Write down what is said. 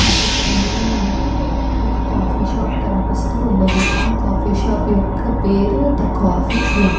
ఈ చిత్రం లో మనకి ఒక కాఫీ షాప్ కనిపిస్తూ ఉన్నది. ఆ కాఫీ షాప్ యొక్క పేరు ద కాఫీ క్లబ్ .